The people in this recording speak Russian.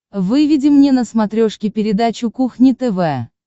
выведи мне на смотрешке передачу кухня тв